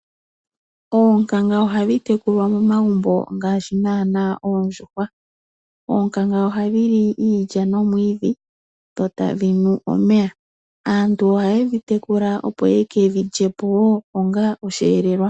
Oonkanga ohadhi tekulwa momagumbo, ngaashi naana oondjuhwa. Oonkanga oha dhi li iilya nomwiidhi dho tadhi nu omeya. Aantu ohaye dhi tekula opo yeke dhi lye po wo onga osheelelwa.